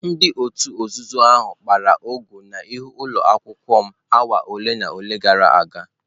Ndị òtù nzuzo ahụ kpara ọgụ n'ihu ụlọ akwụkwọ m awa ole na ole gara aga.